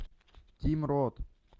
тим рот